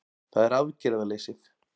Það er aðgerðaleysið